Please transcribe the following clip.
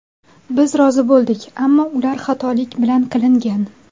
Biz rozi bo‘ldik, ammo ular xatolik bilan qilingan.